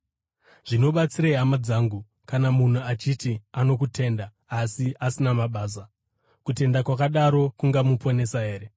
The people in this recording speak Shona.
Zvinobatsirei, hama dzangu, kana munhu achiti ano kutenda asi asina mabasa? Kutenda kwakadaro kungamuponesa here?